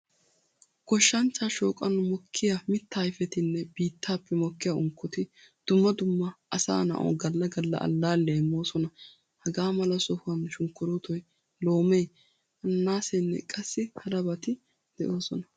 Goshshanchcha shooqan mokkiya miitta ayfettinne biittappe mokkiya unkkotti dumma dumma asaa na'awu galla galla allaliyaa immoosona. Hagaamala sohuwan sunkkuruttoy, loome, ananaasenne qassi harabati deosona.